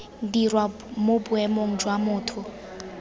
dirwa mo boemong jwa motho